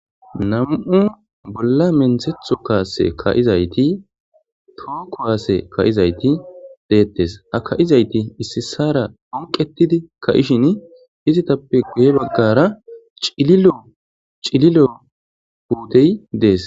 namu7u bolla menthetho kaase ka7izayti too kowaase ka7izayti deettes aka7izayti issisara onqetidi ka7ishin izitappe guye baggara ciilo cililo huutey dees